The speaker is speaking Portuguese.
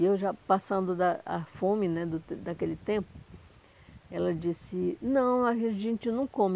E eu já passando da a fome né o daquele tempo, ela disse, não, a gente não come.